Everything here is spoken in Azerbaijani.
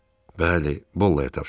Bəli, Bolla-ya tapşırdı.